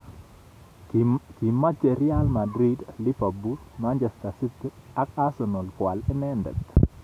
Kimeche Real Madrid, Liverpool, Manchester City ak Arsenal koal inendet